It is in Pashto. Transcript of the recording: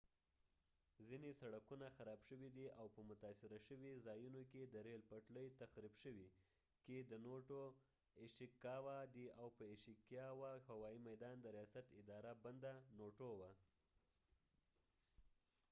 ځینې سړکونه خراب شوي دي او په متاثره شوي ځایونو کې د ریل پټلۍ تخریب شوي دي او په ایشیکاوا ishikawa کي د نوټو noto هوايي میدان د ریاست اداره بنده وه